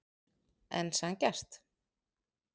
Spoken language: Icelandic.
En sanngjarnt?